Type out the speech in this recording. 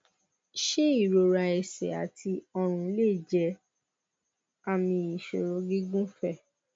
ṣé ìrora ẹsẹ àti ọrùn lè jẹ àmì ìṣòro gígùnfẹ